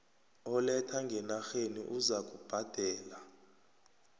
oletha ngenarheni uzakubhadela